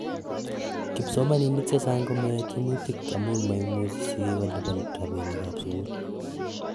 Kipsomaninik chechang komayoe tyemutik amun maimuchi sigik kolipan rapinik ap sugul